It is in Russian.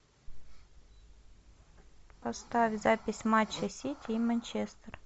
поставь запись матча сити и манчестер